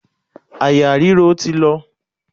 Àyà ríro ti lọ.